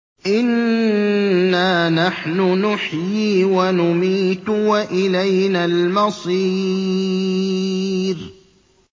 إِنَّا نَحْنُ نُحْيِي وَنُمِيتُ وَإِلَيْنَا الْمَصِيرُ